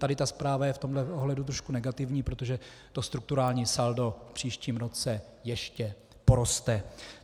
Tady ta zpráva je v tomhle ohledu trošku negativní, protože to strukturální saldo v příštím roce ještě poroste.